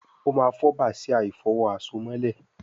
o ma fo Bàsíà ìfọ̀wo àsomọ́lẹ̀